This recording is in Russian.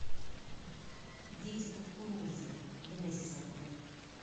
дети кукурузы генезис открой